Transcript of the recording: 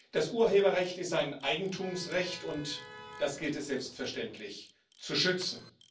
Das Urheberrecht ist ein Eigentumsrecht, und das gilt es selbstverständlich zu schützen.